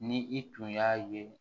Ni i tun y'a ye